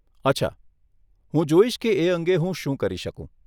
અચ્છા, હું જોઇશ કે એ અંગે હું શું કરી શકું.